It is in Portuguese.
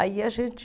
Aí a gente...